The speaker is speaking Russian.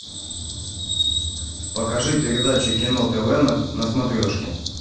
покажи передачу кино тв на смотрешке